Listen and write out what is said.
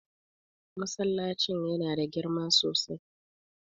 Masallacin yana da girma sosai.